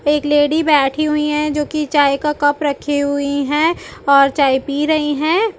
एक लेडी बैठी हुई है जो की चाय का कप रखी हुई है और चाय पी रही है।